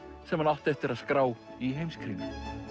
sem hann átti eftir að skrá í Heimskringlu